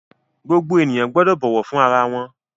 Gbogbo ènìyàn gbọ́dọ̀ bọ̀wọ̀ fún ara wọn!